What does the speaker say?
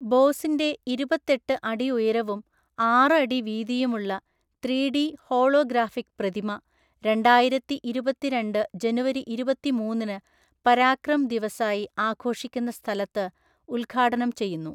ബോസിന്റെ ഇരുപത്തെട്ട് അടി ഉയരവും ആറു അടി വീതിയുമുള്ള ത്രീ ഡി ഹോളോഗ്രാഫിക് പ്രതിമ രണ്ടായിരത്തിഇരുപത്തിരണ്ട് ജനുവരി ഇരുപത്തിമൂന്നിന് പരാക്രം ദിവസായി ആഘോഷിക്കുന്ന സ്ഥലത്ത് ഉദ്ഘാടനം ചെയ്യുന്നു.